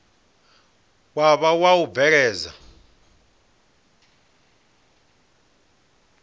wa vha wa u bveledza